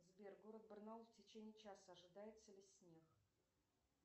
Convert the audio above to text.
сбер город барнаул в течение часа ожидается ли снег